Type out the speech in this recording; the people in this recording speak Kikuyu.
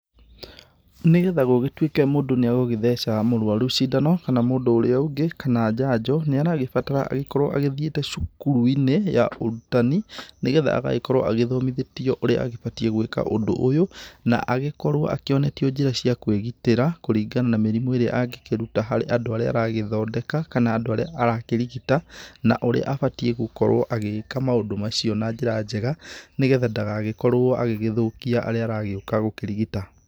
Nĩgetha gũgĩtuĩke mũndũ nĩagũgĩtheca mũrwaru cindano, kana mũndũ ũrĩa ũngĩ, kana njanjo, nĩ aragĩbatara akorwo agĩthiĩte cukuru-inĩ ya ũrutani, nĩgetha agagĩkorwo agĩthomithĩtio ũrĩa agĩbatiĩ gwĩka ũndũ ũyũ, na agĩkorwo akĩonetio njĩra cia kwĩgitĩra kũringana na mĩrimũ ĩrĩa angĩkĩruta harĩ andũ arĩa aragĩthondeka, kana andũ arĩa arakĩrigita, na ũrĩa abatiĩ gũkorwo agĩika maũndũ macio na njĩra njega, nĩgetha ndagagĩkorwo agĩgĩthũkia arĩa aragĩũka gũkĩrigita.